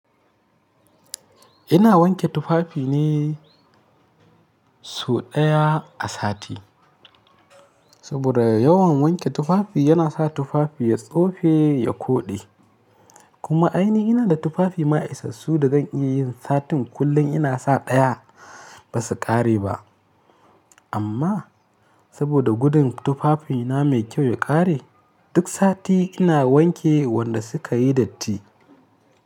Ina wanke tufafi ne sau ɗaya a sati. Saboda yawan wanke tufafi yana sa tufafi ya tsofe, ya koɗe. Kuma ainihi ina da tufafi na isassu da zan iya yin satin kullum ina sa ɗaya ba su ƙare ba. Amma saboda gudun tufafina mai kyau ya ƙare, duk sati ina wanke wanda suka yi datti.